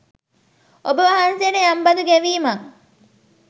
ඔබවහන්සේට යම් බදු ගෙවීමක්